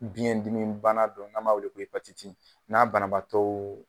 Biyɛn dimi bana dɔ n'an b'a weele n'a banabaatɔɔ